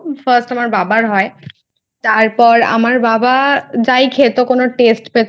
First আমার বাবার হয় তারপর আমার বাবা যাই খেত কোনো Test পেতো না